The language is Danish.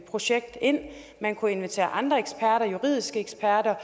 projekt ind man kunne invitere andre eksperter